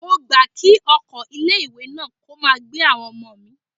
Mo gbà kí ọkọ̀ ilé ìwé náà kó máa gbé àwọn ọmọ mi.